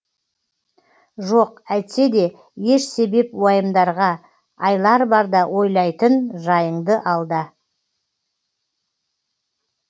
жоқ әйтсе де еш себеп уайымдарға айлар барда ойлайтын жайыңды алда